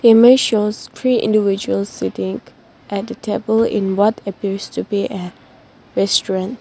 The image shows three individuals sitting at table in what appears to be a restaurant.